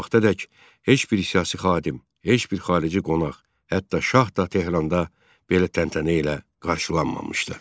Bu vaxtadək heç bir siyasi xadim, heç bir xarici qonaq, hətta şah da Tehranda belə təntənə ilə qarşılanmamışdı.